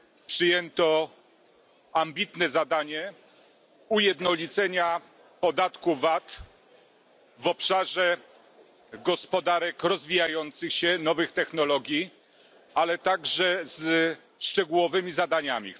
Przyjęto ambitne zadanie ujednolicenia podatku VAT w obszarze gospodarek rozwijających się, nowych technologii, ale także ze szczegółowymi zadaniami.